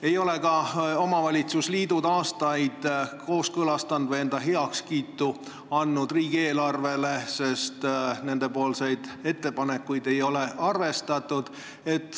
Ei ole ka omavalitsusliidud aastaid kooskõlastanud või andnud heakskiitu riigieelarvele, sest nende ettepanekuid ei ole arvestatud.